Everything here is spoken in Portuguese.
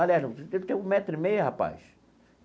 Aliás, você deve ter um metro e meio, rapaz.